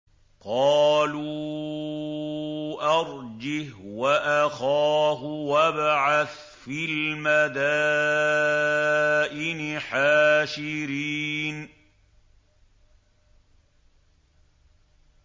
قَالُوا أَرْجِهْ وَأَخَاهُ وَابْعَثْ فِي الْمَدَائِنِ حَاشِرِينَ